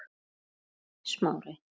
spurði Smári.